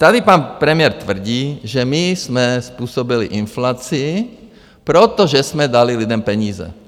Tady pan premiér tvrdí, že my jsme způsobili inflaci, protože jsme dali lidem peníze.